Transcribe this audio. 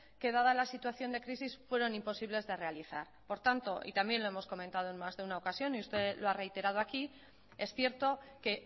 que dada la situación de crisis fueron imposibles de realizar por tanto y también lo hemos comentado en más de una ocasión y usted lo ha reiterado aquí es cierto que